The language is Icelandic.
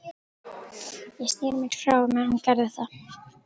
Ég sneri mér frá á meðan hún gerði það.